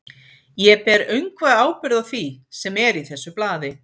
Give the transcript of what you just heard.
Ég ber öngva ábyrgð á því, sem er í þessu blaði.